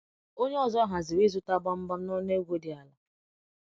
Onye ọzọ haziri ịzụta gbamgbam n’ọnụ ego dị ala.